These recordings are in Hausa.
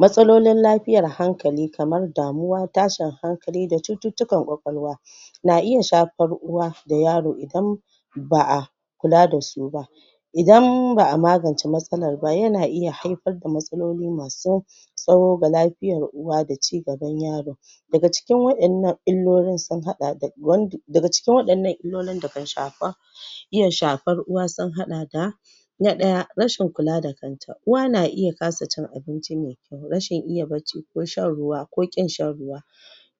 Matsalolin lafiyar hankali kamar damuwa, tashin hankali da cututtukan kwakwalwa na iya shafar uwa da yaro idan ba'a kula dasu ba idan ba'a magance matsalar ba, yana iya haifar da matsaloli masu tsaho ga lafiyar uwa da cigaban yaro daga cikin waɗannan illolin sun haɗa da daga cikin waɗannan illolin da kan shafa iys shafar uwa sun haɗa da da ɗaya, rashin kula da kanta, uwa na iya kasa cin abinci mai kyau rashin iya barci ko shan ruwa ko ƙin shan ruwa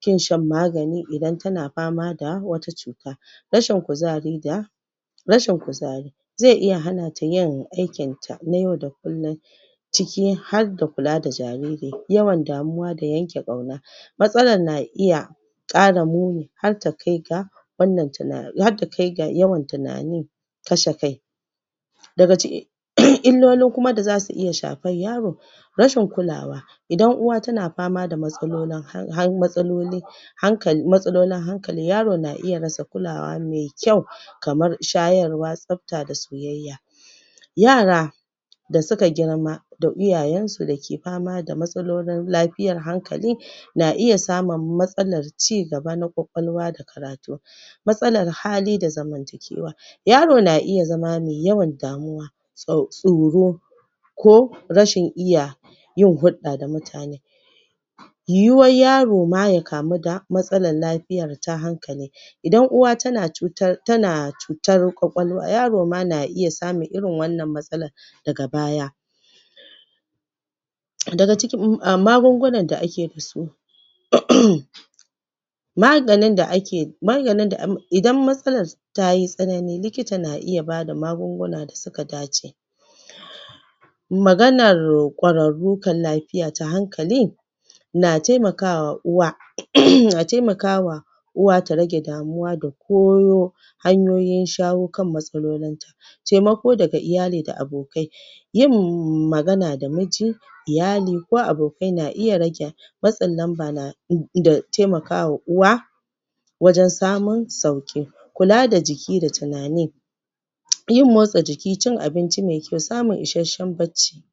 ƙin shan magani idan tana fama da wata cuta rashin kuzari da rashin kuzari zai iya hana ta yin aiki ta na yau da kullin cikin har da kula da jaririn, yawan damuwa da yanke ƙauna matsalar na iya ƙara muni har ta kai ga wannan tuna har ta kai ga yawan tunani kashe kai daga ci um illolin kuma da zasu iya shar yaro rashin kulawa idan uwa kuma na fama da matsaloli han matsaloli hanka matsalolin hankali yaro na iya rasa kulawa mai kyau kamar shayarwa, tsafta da soyayya yara da suka girma da iyayen su dake fama da matsalolin lafiyar hankali na iya samun matsalar cigaba na kwakwalwa da karatu matsalar hali da zamantakewa yaro na iya zama mai yawan damuwa tsau tsoro ko rashin iya yin hulɗa da mutane yiyuwar yaro ma ya kamu da matsalar lafiyar ta hankali idan uwa tana cutar, tana cutar kwakwalwar, yaro ma na iya samun irin wannan matsala daga baya daga ciki magungunan da ake fi so um maganin da ake, maganin idan matsalar tayi tsanani likita na iya bada magunguna da suka dace maganar kwararru kan lafiya ta hankali na taimakawa uwa um na taimakawa uwa ta rage damuwa da koyo hanyoyin shayo kan matsalolin ta taimako daga iyali da abokai yin magana da muji iyali ko abokai na iya rage matsin lamba da da taimaka uwa wajan samun sauƙi kula da jiki da tunani yin motsa jiki, cin abinci mai kyau, samun isashshen barci.